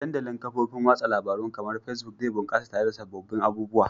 Dandalin kafofin watsa labarun kamar Facebook zai bunkasa tare da sababbin abubuwa